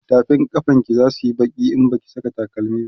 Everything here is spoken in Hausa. tafin kafan ki zasuyi Baki in Baki Saka takalami